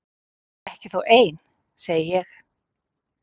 Ekki þó ein? segi ég.